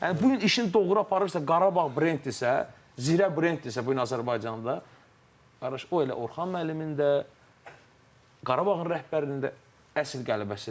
Yəni bu gün işin doğru aparırsa, Qarabağ brenddirsə, Zirə brenddirsə bu gün Azərbaycanda, qardaş, o elə Orxan müəllimin də, Qarabağın rəhbərinin də əsl qələbəsidir.